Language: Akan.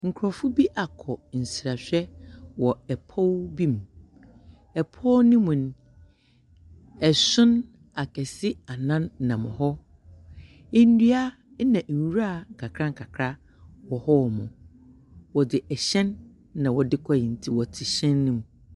Nkorɔfo bi akɔ nsrahwɛ wɔ ɛpow bi mu. Ɛpow no mu no, ason akɛse annan nam hɔ. Ndua na nwura nkakra nkakra wɔ hɔnom. Wɔdze hyɛn na wɔdze koreɛ, ntsi wɔtse hyɛn no mu.